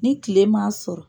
Ni tile m'a sɔrɔ